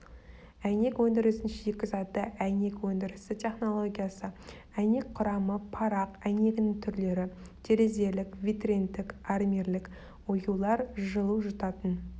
әйнек өндірісінің шикізаты әйнек өндірісі технологиясы әйнек құрамы парақ әйнегінің түрлері терезелік витриндік армирлік оюлар жылу жұтатын